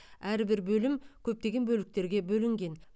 әрбір бөлім көптеген бөліктерге бөлінген